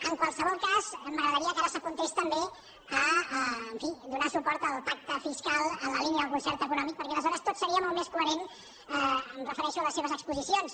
en qualsevol cas m’agradaria que ara s’apuntés també en fi a donar suport al pacte fiscal en la línia del concert econòmic perquè aleshores tot seria molt més coherent em refereixo a les seves exposicions